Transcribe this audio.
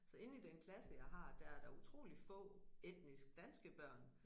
Så inde i den klasse jeg har der er der utroligt få etnisk danske børn